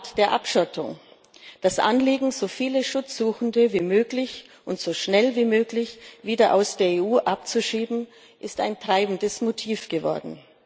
Das Primat der Abschottung, das Anliegen, so viele Schutzsuchende wie möglich und so schnell wie möglich wieder aus der EU abzuschieben, ist ein treibendes Motiv geworden.